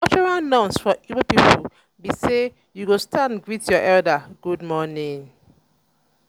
cultural norms for igbo pipo bi say yu go stand greet yur elder good morning